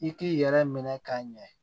I k'i yɛrɛ minɛ ka ɲɛ